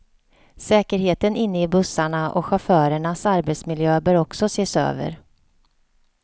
Säkerheten inne i bussarna och chaufförernas arbetsmiljö bör också ses över.